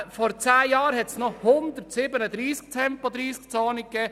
Vor zehn Jahren gab es noch 137 Tempo-30-Zonen.